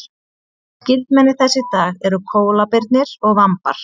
skyldmenni þess í dag eru kóalabirnir og vambar